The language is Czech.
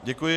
Děkuji.